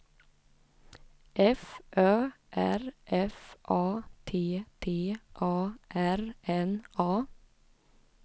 F Ö R F A T T A R N A